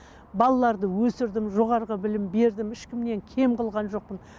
балаларды өсірдім жоғарғы білім бердім ешкімнен кем қылған жоқпын